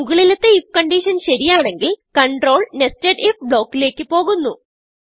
മുകളിലത്തെ I F condition ശരിയാണെങ്കിൽ control nested ifബ്ലോക്കിലേക്ക് പോകുന്നു